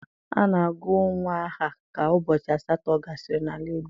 A na-agụ nnwa aha ka ụbọchị asatọ gasịrị n'ala Igbo.